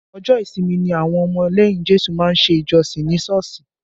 Ọjọ́ ìsinmi ni àwọn ọmọ lẹ́yìn Jésù má ń ṣe ìjọsìn ní Sọ́ọ̀sì